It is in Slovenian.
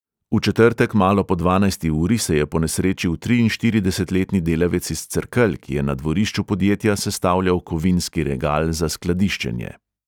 V četrtek malo po dvanajsti uri se je ponesrečil triinštiridesetletni delavec iz cerkelj, ki je na dvorišču podjetja sestavljal kovinski regal za skladiščenje.